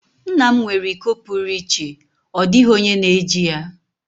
nna m nwere iko pụrụ iche, ọ dịghị onye na-eji ya.